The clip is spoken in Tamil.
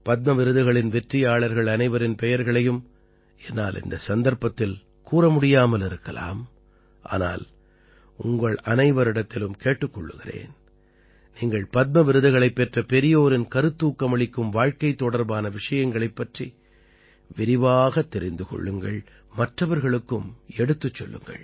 பத்ம விருதுகளின் வெற்றியாளர்கள் அனைவரின் பெயர்களையும் என்னால் இந்த சந்தர்ப்பத்தில் கூற முடியாமல் இருக்கலாம் ஆனால் உங்களனைவரிடத்திலும் கேட்டுக் கொள்கிறேன் நீங்கள் பத்ம விருதுகளைப் பெற்ற பெரியோரின் கருத்தூக்கமளிக்கும் வாழ்க்கை தொடர்பான விஷயங்களைப் பற்றி விரிவாகத் தெரிந்து கொள்ளுங்கள் மற்றவர்களுக்கும் எடுத்துச் சொல்லுங்கள்